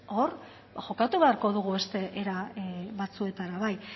hor jokatu beharko dugu beste era batzuetara bai